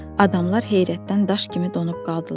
Adamlar heyrətdən daş kimi donub qaldılar.